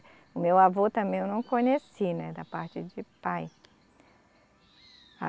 O meu avô também eu não conheci, né, da parte de pai.